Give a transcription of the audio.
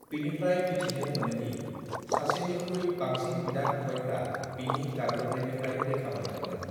बिनिफ्राय मिथिनो मोनोदि सासेनिख्रिुइ बांसिन बिदा-फंबायफ्रा बिनि गाग्लोबनायनिफ्राय रैखा मोन्दोंमोन।